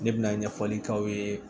Ne bɛna ɲɛfɔli k'aw ye